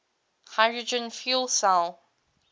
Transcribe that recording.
hydrogen fuel cell